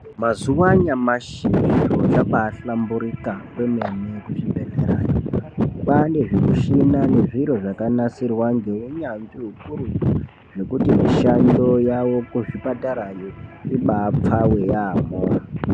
Mazuva anyamashi zviro zvabahlamburuka kwemene kuzvibhedhlerayo kwane zvimushina nezviro zvakanasirwa nehunyanzvi ukurutu zvekuti mishando yavo kuzvipatarayo ibapfave yamho.